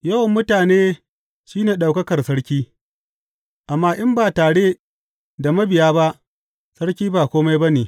Yawan mutane shi ne ɗaukakar sarki, amma in ba tare da mabiya ba sarki ba kome ba ne.